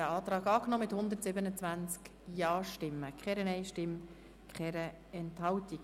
Sie haben den Antrag angenommen mit 127 Ja-Stimmen, keiner Nein-Stimme und keiner Enthaltung.